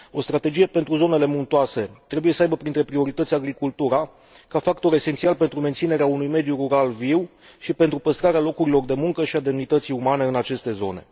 O strategie pentru zonele muntoase trebuie să aibă printre priorități agricultura, ca factor esențial pentru menținerea unui mediu rural viu și pentru păstrarea locurilor de muncă și a demnității umane în aceste zone.